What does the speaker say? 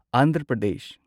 Andhra Pradesh